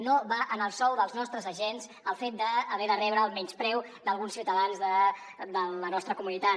no va en el sou dels nostres agents el fet d’haver de rebre el menyspreu d’alguns ciutadans de la nostra comunitat